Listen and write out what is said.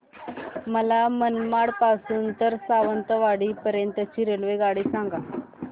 मला मनमाड पासून तर सावंतवाडी पर्यंत ची रेल्वेगाडी सांगा